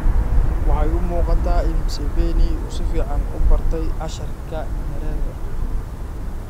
Waxay u muuqataa in Museveni uu si fiican u bartay casharka Nyerere.